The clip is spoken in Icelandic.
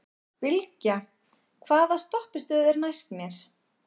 Bylgja, hvaða stoppistöð er næst mér?